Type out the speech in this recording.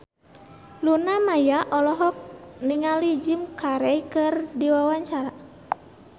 Luna Maya olohok ningali Jim Carey keur diwawancara